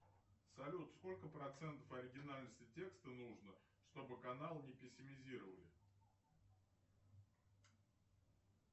салют сколько процентов оригинальности текста нужно чтобы канал не пессимизировали